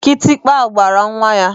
Kitikpa gbara nwa ya.